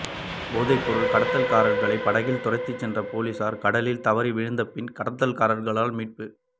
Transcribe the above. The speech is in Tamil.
போதைப்பொருள் கடத்தல்காரர்களை படகில் துரத்திச் சென்ற பொலிஸார் கடலில் தவறி வீழ்ந்தபின் கடத்தல்காரர்களால் மீட்பு